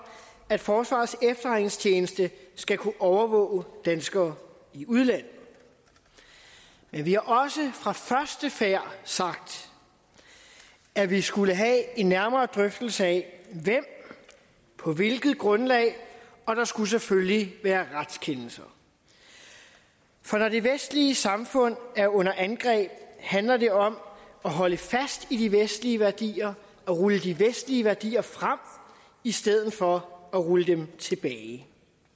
at forsvarets efterretningstjeneste skal kunne overvåge danskere i udlandet men vi har også fra første færd sagt at vi skulle have en nærmere drøftelse af hvem og på hvilket grundlag og der skulle selvfølgelig være retskendelser for når det vestlige samfund er under angreb handler det om at holde fast i de vestlige værdier og rulle de vestlige værdier frem i stedet for at rulle dem tilbage